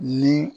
Ni